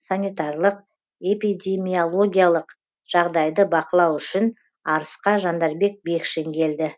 санитарлық эпидемиологиялық жағдайды бақылау үшін арысқа жандарбек бекшин келді